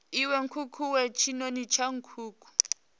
iwe nkukuwe tshinoni tsha nkuku